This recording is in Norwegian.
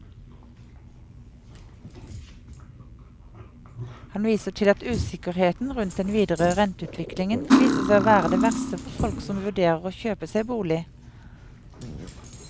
Han viser til at usikkerheten rundt den videre renteutviklingen viser seg å være det verste for folk som vurderer å kjøpe seg bolig.